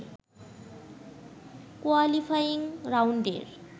qualifying রাউন্ডের